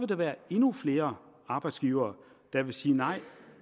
komme endnu flere arbejdsgivere der vil sige nej